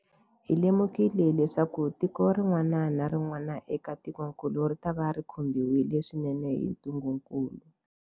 Hi lemukile leswaku tiko rin'wana na rin'wana eka tikokulu ritava ri khumbiwile swinene hi ntungukulu.